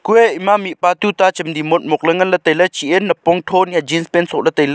kuye ema mihpa tuta chemji motmok la ngan le taile chi ye napong tho hiya jeanpant so le taile.